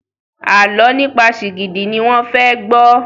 Àlọ nípa Shigidi ní wón fè gbó